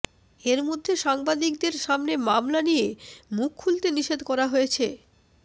এর মধ্যে সাংবাদিকদের সামনে মামলা নিয়ে মুখ খুলতে নিষেধ করা হয়েছে